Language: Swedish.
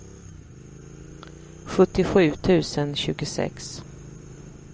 sjuttiosju tusen tjugosex